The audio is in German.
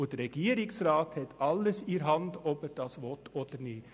Der Regierungsrat hat es voll in der Hand, ob er das will oder nicht.